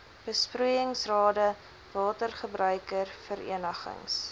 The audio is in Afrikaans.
besproeiingsrade watergebruiker verenigings